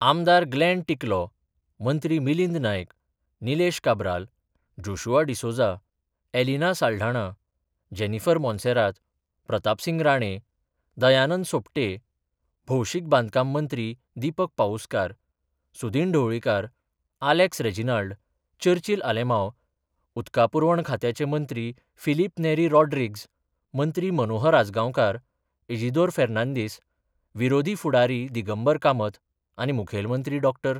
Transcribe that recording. आमदार ग्लेन टिकलो, मंत्री मिलिंद नायक, निलेश काब्राल जोशुआ डिसोझा, एलिना साल्ढाणा, जेनीफर मोंसेरात, प्रतापसिंग राणे, दयानंद सोपटे, भौशीक बांदकाम मंत्री दीपक पाऊसकार, सुदीन ढवळीकार, आलेक्स रेजिनाल्ड, चर्चील आलेमांव, उदका पुरवण खात्याचे मंत्री फिलीप नेरी रॉड्रिग्ज मंत्री मनोहर आजगांवकार, इजिदोर फेर्नांदीस, विरोधी फुडारी दिगंबर कामत आनी मुखेल मंत्री डॉ.